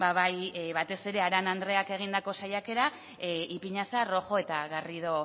bai batez ere arana andreak egindako saiakera ipiñazar rojo eta garrido